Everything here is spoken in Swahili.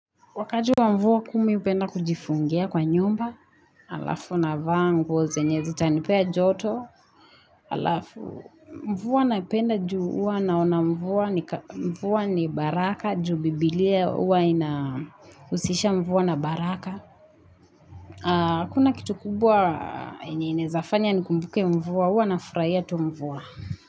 Wakati wa mvua kuu mi hupenda kujifungia kwa nyumba, halafu navaa nguo, zenye zitanipea joto, halafu, mvua naipenda juu huwa naona mvua, mvua ni baraka, juu biblia huwa inahusisha mvua na baraka. Hakuna kitu kubwa yenye inaeza fanya nikumbuke mvua. Huwa nafurahia tu mvua.